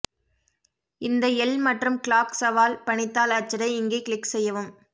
இந்த எல் மற்றும் கிளார்க் சவால் பணித்தாள் அச்சிட இங்கே கிளிக் செய்யவும்